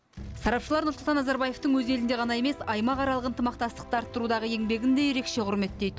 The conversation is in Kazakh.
сарапшылар нұрсұлтан назарбаевтың өз елінде ғана емес аймақаралық ынтымақтастықты арттырудағы еңбегін де ерекше құрметтейді